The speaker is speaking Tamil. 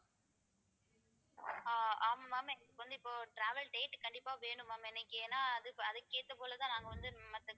ஆஹ் ஆமா ma'am எனக்கு வந்து இப்போ travel date கண்டிப்பா வேணும் ma'am எனக்கு ஏன்னா அதுக்~ அதுக்கேத்த போலதான் நாங்க வந்து மத்த